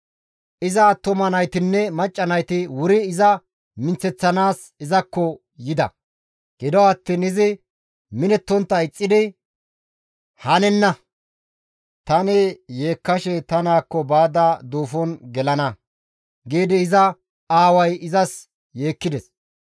Iza attuma naytinne macca nayti wuri iza minththeththanaas izakko yida; gido attiin izi minettontta ixxidi, «Hanenna! Tani yeekkada ta naakko baada duufon gelana» giidi iza aaway izas yeekkides.